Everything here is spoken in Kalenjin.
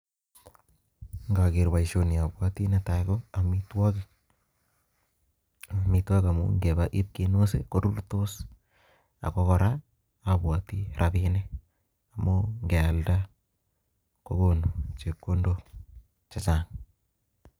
Ngoker boisioni abwati netai ko amitwogik, amitwogik amu ngeba ip kinus ii, korurtos ak ko kora abwati rabiinik amu ngealda kokonu chepkondok chechang.